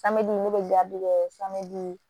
ne bɛ gabiri kɛ